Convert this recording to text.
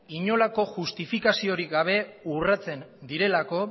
inolako justifikaziorik gabe urratzen direlako